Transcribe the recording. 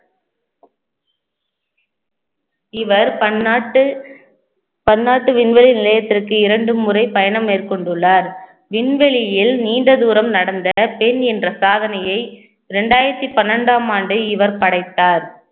இவர் பன்னாட்டு பன்னாட்டு விண்வெளி நிலையத்திற்கு இரண்டு முறை பயணம் மேற்கொண்டுள்ளார் விண்வெளியில் நீண்ட தூரம் நடந்த பெண் என்ற சாதனையை இரண்டாயிரத்தி பன்னிரண்டாம் ஆண்டு இவர் படைத்தார்